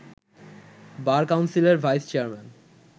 বার কাউন্সিলের vice chairman